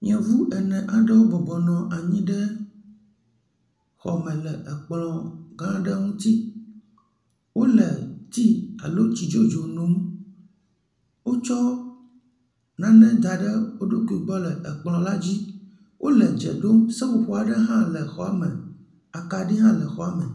Nyɔnu ene aɖewo bɔbɔ nɔ anyi ɖe xɔ me le ekplɔ gã aɖe ŋuti. Wòle tea alo tsi dzodzie nom. Wotsɔ nane da ɖe wò ɖokui gbɔ le ekplɔ la dzi. Wòle dze ɖom. Seƒoƒo aɖe hã le exɔa, akaɖi hã le xɔa me.